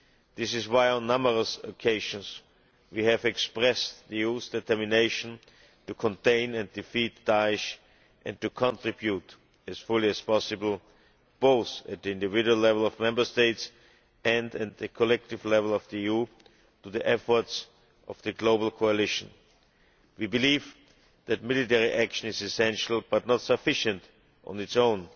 This is why on numerous occasions we have expressed views and the determination to contain and defeat Daesh and to contribute as fully as possible, both at the individual level of Member States and the collective level of the EU, to the efforts of the global coalition. We believe that military action is essential, but not sufficient on its